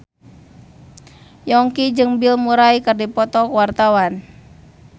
Yongki jeung Bill Murray keur dipoto ku wartawan